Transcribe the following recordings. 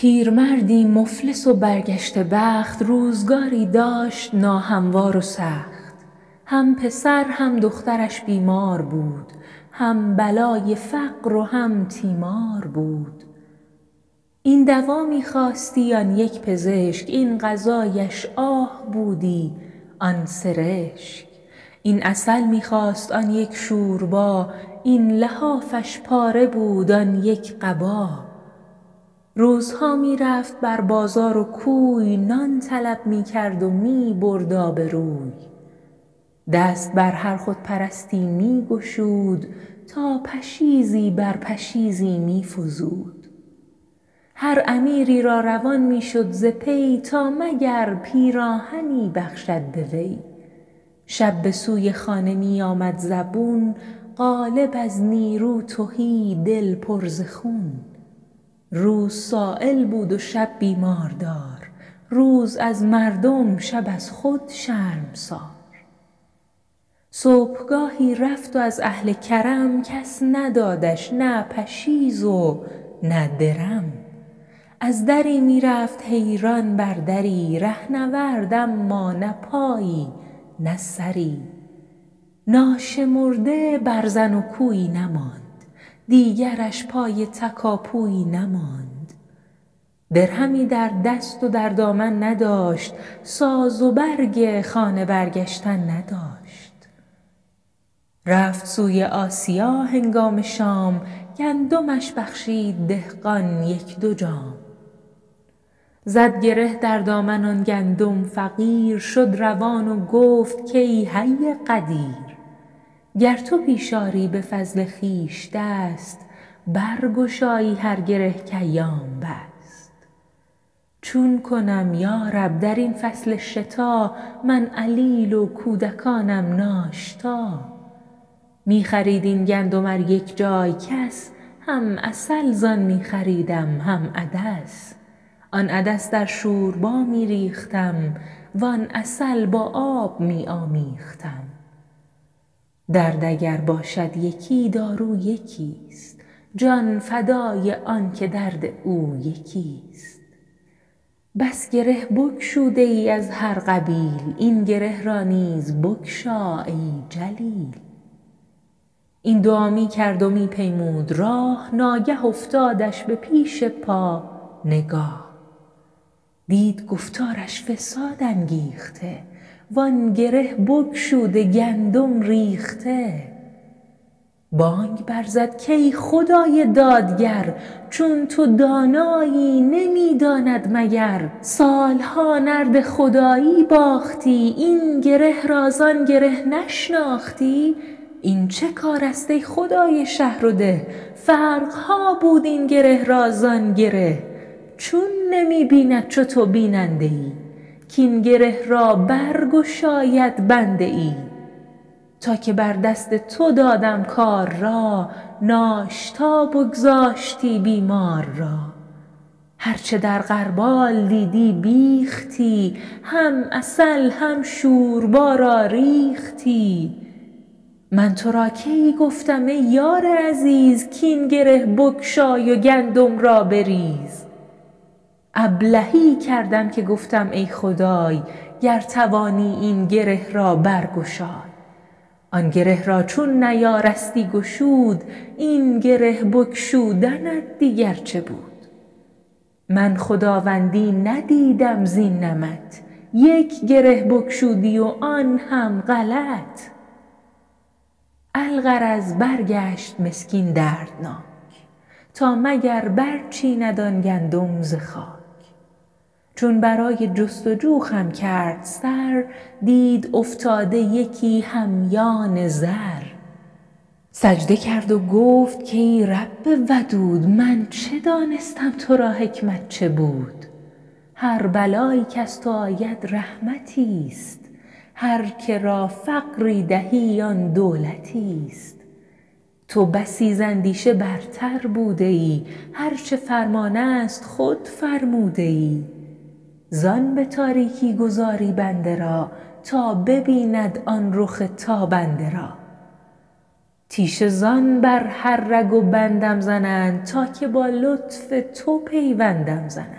پیرمردی مفلس و برگشته بخت روزگاری داشت ناهموار و سخت هم پسر هم دخترش بیمار بود هم بلای فقر و هم تیمار بود این دوا می خواستی آن یک پزشک این غذایش آه بودی آن سرشک این عسل می خواست آن یک شوربا این لحافش پاره بود آن یک قبا روزها می رفت بر بازار و کوی نان طلب می کرد و می برد آبروی دست بر هر خودپرستی می گشود تا پشیزی بر پشیزی می فزود هر امیری را روان می شد ز پی تا مگر پیراهنی بخشد به وی شب به سوی خانه می آمد زبون قالب از نیرو تهی دل پر ز خون روز سایل بود و شب بیماردار روز از مردم شب از خود شرمسار صبحگاهی رفت و از اهل کرم کس ندادش نه پشیز و نه درم از دری می رفت حیران بر دری رهنورد اما نه پایی نه سری ناشمرده برزن و کویی نماند دیگرش پای تکاپویی نماند درهمی در دست و در دامن نداشت ساز و برگ خانه برگشتن نداشت رفت سوی آسیا هنگام شام گندمش بخشید دهقان یک دو جام زد گره در دامن آن گندم فقیر شد روان و گفت که ای حی قدیر گر تو پیش آری به فضل خویش دست برگشایی هر گره که ایام بست چون کنم یارب در این فصل شتا من علیل و کودکانم ناشتا می خرید این گندم ار یک جای کس هم عسل زان می خریدم هم عدس آن عدس در شوربا می ریختم وان عسل با آب می آمیختم درد اگر باشد یکی دارو یکی ست جان فدای آن که درد او یکی ست بس گره بگشوده ای از هر قبیل این گره را نیز بگشا ای جلیل این دعا می کرد و می پیمود راه ناگه افتادش به پیش پا نگاه دید گفتارش فساد انگیخته وآن گره بگشوده گندم ریخته بانگ بر زد که ای خدای دادگر چون تو دانایی نمی داند مگر سال ها نرد خدایی باختی این گره را زان گره نشناختی این چه کار است ای خدای شهر و ده فرق ها بود این گره را زان گره چون نمی بیند چو تو بیننده ای کاین گره را برگشاید بنده ای تا که بر دست تو دادم کار را ناشتا بگذاشتی بیمار را هرچه در غربال دیدی بیختی هم عسل هم شوربا را ریختی من تو را کی گفتم ای یار عزیز کاین گره بگشای و گندم را بریز ابلهی کردم که گفتم ای خدای گر توانی این گره را برگشای آن گره را چون نیارستی گشود این گره بگشودنت دیگر چه بود من خداوندی ندیدم زین نمط یک گره بگشودی و آن هم غلط الغرض برگشت مسکین دردناک تا مگر برچیند آن گندم ز خاک چون برای جستجو خم کرد سر دید افتاده یکی همیان زر سجده کرد و گفت کای رب ودود من چه دانستم تو را حکمت چه بود هر بلایی کز تو آید رحمتی است هر که را فقری دهی آن دولتی است تو بسی زاندیشه برتر بوده ای هرچه فرمان است خود فرموده ای زان به تاریکی گذاری بنده را تا ببیند آن رخ تابنده را تیشه زان بر هر رگ و بندم زنند تا که با لطف تو پیوندم زنند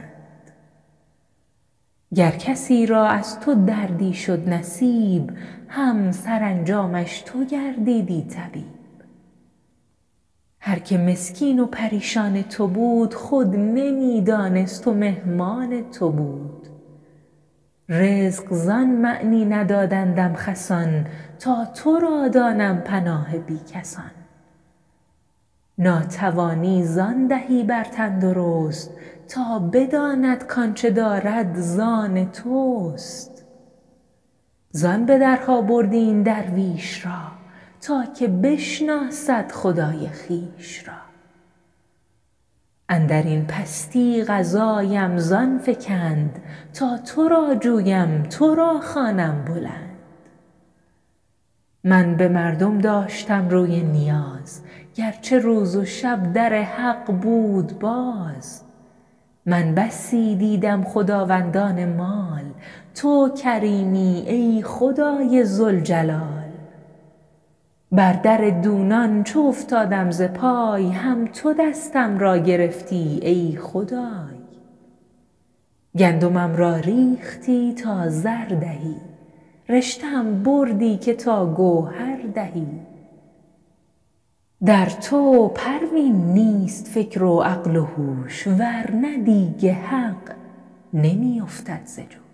گر کسی را از تو دردی شد نصیب هم سرانجامش تو گردیدی طبیب هر که مسکین و پریشان تو بود خود نمی دانست و مهمان تو بود رزق زان معنی ندادندم خسان تا تو را دانم پناه بی کسان ناتوانی زان دهی بر تندرست تا بداند کآنچه دارد زان توست زان به درها بردی این درویش را تا که بشناسد خدای خویش را اندرین پستی قضایم زان فکند تا تو را جویم تو را خوانم بلند من به مردم داشتم روی نیاز گرچه روز و شب در حق بود باز من بسی دیدم خداوندان مال تو کریمی ای خدای ذوالجلال بر در دونان چو افتادم ز پای هم تو دستم را گرفتی ای خدای گندمم را ریختی تا زر دهی رشته ام بردی که تا گوهر دهی در تو پروین نیست فکر و عقل و هوش ورنه دیگ حق نمی افتد ز جوش